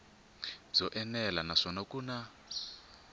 byo enela naswona ku na